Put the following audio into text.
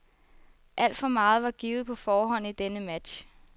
Alt for meget var givet på forhånd i denne match.